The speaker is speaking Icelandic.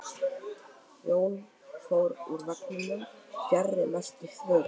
Þau Jón fóru úr vagninum fjarri mestu þvögunni.